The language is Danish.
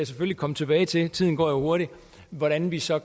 selvfølgelig komme tilbage til tiden går jo hurtigt hvordan vi så